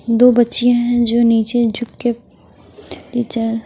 दो बच्चियाँं हैं जो नीचे झुक के --